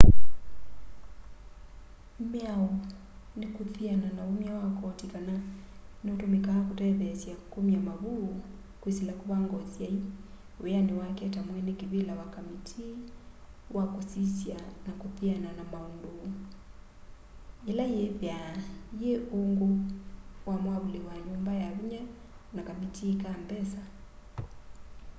mĩao nĩ kũthĩana na ũmya wa kotĩ kana nĩ ũtũmĩkaa kũtetheesya kũmya mavũ kwĩsĩla kũvanga ũsyaĩ wĩyanĩ wake ta mwene kĩvĩla wa kamĩtĩĩ wa kũsĩsya na kũthĩana na maũndũ ĩla yĩthaa yĩ ũngũ wa mwavũlĩ wa nyũmba ya vĩnya na kamĩtĩĩ ka mbesa